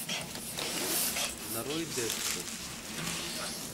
нарой декстер